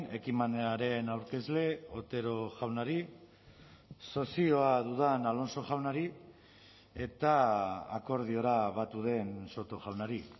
ekimenaren aurkezle otero jaunari sozioa dudan alonso jaunari eta akordiora batu den soto jaunari